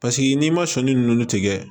Paseke n'i ma sɔnni ninnu tigɛ